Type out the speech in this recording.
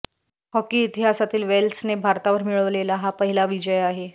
hockey इतिहासातील वेल्सने भारतावर मिळवलेला हा पहिला विजय आहे